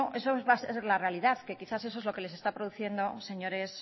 bueno esa va a ser la realidad que quizás eso es lo que les está produciendo señores